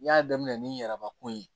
N y'a daminɛ ni yɛrɛba ko ye